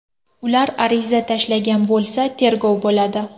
Ular ariza tashlagan bo‘lsa tergov bo‘ladi.